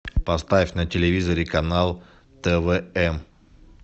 поставь на телевизоре канал твм